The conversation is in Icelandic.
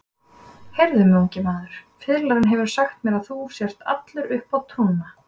Heyrðu mig, ungi maður, fiðlarinn hefur sagt mér að þú sért allur uppá trúna.